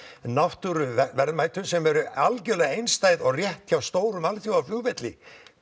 náttúruverðmætum sem eru algjörlega einstæð og rétt hjá alþjóðaflugvelli